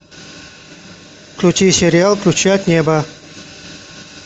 включи сериал ключи от неба